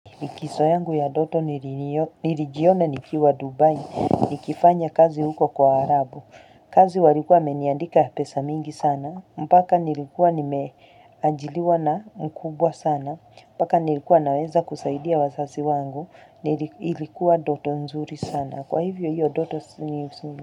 Likizo yangu ya doto nilijiona nikiwa Dubai nikifanya kazi huko kwa warabu. Kazi walikuwa wameniandika pesa mingi sana. Mpaka nilikuwa nimeajiliwa na mkubwa sana. Mpaka nilikuwa naweza kusaidia wazazi wangu. Nilikuwa doto nzuri sana. Kwa hivyo hiyo doto sini nzuri sana.